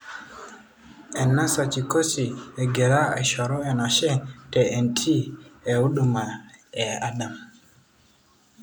Ernast Chikoti egira aishoru enashe te ntii e uduma e Adam.